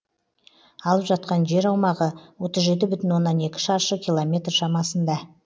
алып жатқан жер аумағы отыз жеті бүтін оннан екі шаршы километр шамасында